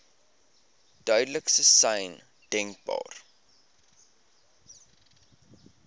duidelikste sein denkbaar